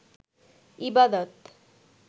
ইবাদত